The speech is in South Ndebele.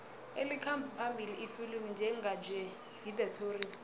elikhamba phambili ifilimu njenganje yi the tourist